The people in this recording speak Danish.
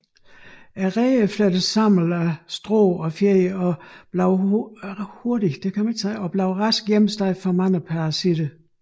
Reden er flettet sammen af strå og fjer og bliver hurtigt hjemsted for mange parasitter